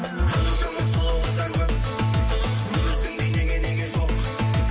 қаншама сұлу қыздар көп өзіңдей неге неге жоқ